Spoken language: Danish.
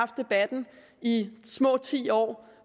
debatten i små ti år